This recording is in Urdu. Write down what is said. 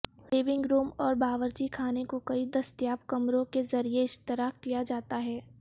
لونگ روم اور باورچی خانے کو کئی دستیاب کمروں کے ذریعہ اشتراک کیا جاتا ہے